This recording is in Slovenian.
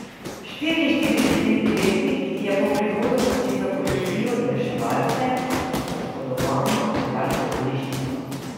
Štiriinštiridesetletnik je po prihodu poklical policijo in reševalce, ki so poškodovano odpeljali v bolnišnico.